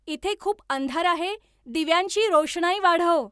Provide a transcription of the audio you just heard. इथे खूप अंधार आहे दिव्यांची रोषणाई वाढव